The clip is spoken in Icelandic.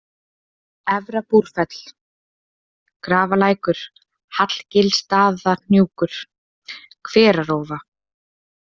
Efra-Búrfell, Grafarlækur, Hallgilsstaðahnjúkur, Hverarófa